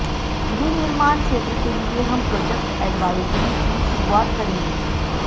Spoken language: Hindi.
विनिर्माण क्षेत्र के लिए हम प्रोजेक्ट एडवाइजरी की शुरुआत करेंगे